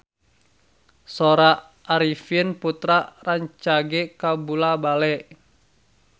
Sora Arifin Putra rancage kabula-bale